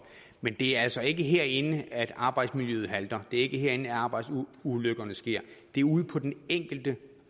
men det er altså ikke herinde at arbejdsmiljøet halter det er ikke herinde arbejdsulykkerne sker det er ude på den enkelte